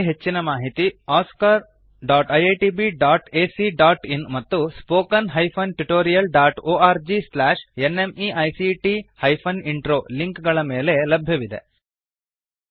ಇದರ ಬಗ್ಗೆ ಹೆಚ್ಚಿನ ಮಾಹಿತಿ oscariitbacಇನ್ ಮತ್ತು spoken tutorialorgnmeict ಇಂಟ್ರೋ ಲಿಂಕ್ ಗಳ ಮೇಲೆ ಲಭ್ಯವಿದೆ